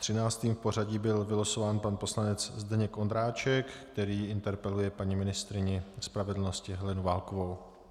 Třináctým v pořadí byl vylosován pan poslanec Zdeněk Ondráček, který interpeluje paní ministryni spravedlnosti Helenu Válkovou.